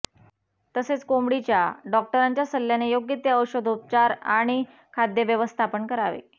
तसेच कोंबडीच्या डॉक्टरांच्या सल्ल्याने योग्य ते औषधोपचार आणि खाद्य व्यवस्थापन करावे